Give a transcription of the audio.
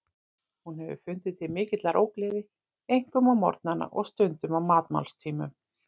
Hún hefur fundið til mikillar ógleði, einkum á morgnana og stundum á matmálstímum.